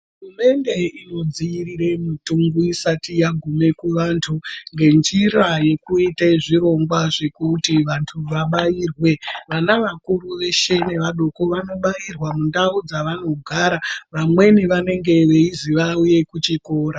Hurumende inodziirirw. mitungu isati yagume kuantu, ngenjira yekuite zvirongwa zvekuti vantu vabairwe. Vana vakuru neadoko veshe vanobairwa mundau dzavanogara, vamweni vanenge veizi vauye kuchikora.